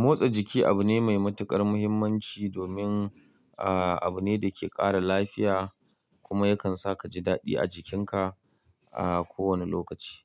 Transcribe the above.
Motsa jiki abu ne mai matuƙar muhimmanci domin, ah, abu ne da ke ƙara lafiya kuma yakan sa ka ji daɗi a jikinka a kowane lokaci.